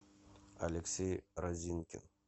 алексей разинкин